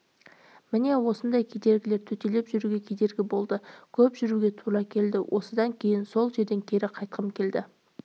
міне осындай кедергілер төтелеп жүруге кедергі болып көп жүруге тура келді осыдан кейін сол жерден кері қайтқым келді